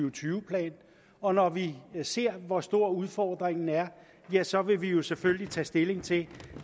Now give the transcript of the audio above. og tyve plan og når vi ser hvor stor udfordringen er er så vil vi vi selvfølgelig tage stilling til